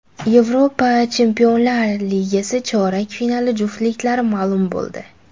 Yevropa Chempionlar ligasi chorak finali juftliklari ma’lum bo‘ldi.